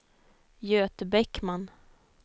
Göte Bäckman